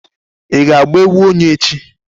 Ị ga-egwu onye echi?